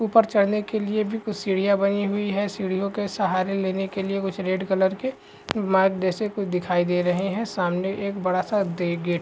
ऊपर चढ़ने के लिए भी कुछ सीढियां बनी हुई हैं सीढ़ियों के सहारे लेने के लिए कुछ रेड कलर के मागदशक दिखाई दे रहें हैं सामने एक बड़ा सा दे गे --